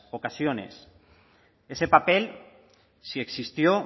ocasiones ese papel si existió